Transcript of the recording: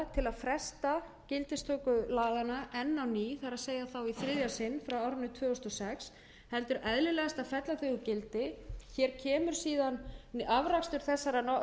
til að fresta gildistöku laganna enn á ný það er þá í þriðja sinn frá árinu tvö þúsund og sex heldur eðlilegast að fella þau úr gildi hér kemur síðan afrakstur þessarar